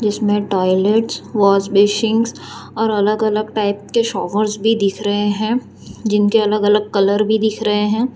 इसमें toilets washbasin और अलग अलग टाइप के शावर्स भी दिख रहे हैं जिनके अलग अलग कलर भी दिख रहे हैं।